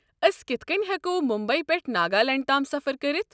ٲسۍ کِتھ کٔنۍ ہٮ۪کو مُمبیی پٮ۪ٹھہٕ ناگالینٛڈ تام سفر کٔرتھ؟